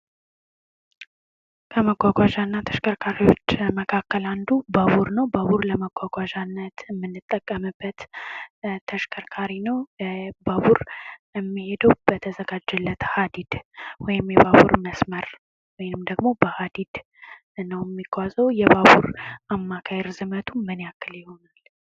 ከመጓጓዣ እና ተሽከርካሪዎች መካከል አንዱ ባቡር ነው። ባቡር ለመጓጓዣነት ከምንጠቀምበት ተሽከርካሪ ነው። ባቡር የሚሄደው በተዘጋጀለት ሃዲድ ወይም የባቡር መስመር ወይም ደግሞ በሃዲድ ነው የሚጓዘው የባቡር አማካኝ ርዝመቱ ምን ያክል ነው?